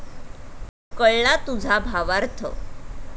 कळला तुझा भावार्थ!